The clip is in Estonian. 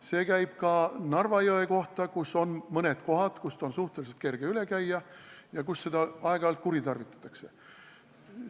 See käib ka Narva jõe kohta, kus on mõned kohad, kust on suhteliselt kerge üle piiri minna ja kus seda võimalust aeg-ajalt kuritarvitatakse.